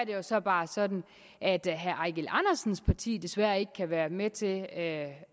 jo så bare sådan at herre eigil andersens parti desværre ikke kan være med til at at